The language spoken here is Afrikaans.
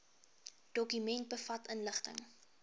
dokument bevat inligting